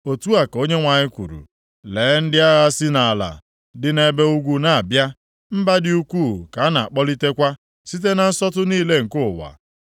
Otu a ka Onyenwe anyị kwuru, “Lee, ndị agha si nʼala dị nʼebe ugwu na-abịa; mba dị ukwuu ka a na-akpọlitekwa site na nsọtụ niile nke ụwa.